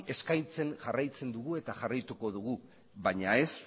eskaintzen jarraitzen dugu eta jarraituko dugu baina ez